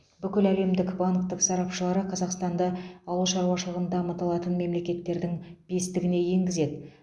бүкіләлемдік банктің сарапшылары қазақстанды ауыл шаруашылығын дамыта алатын мемлекеттердің бестігіне енгізеді